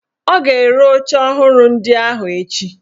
Ọ ga-ere oche ọhụrụ ndị ahụ echi?